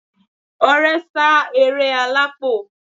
Ọrẹ sá eré alápò